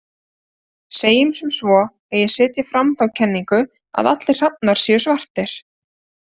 Segjum sem svo að ég setji fram þá kenningu að allir hrafnar séu svartir.